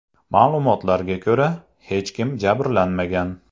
Ma’lumotlarga ko‘ra, hech kim jabrlanmagan.